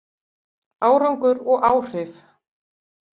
Árangur og áhrif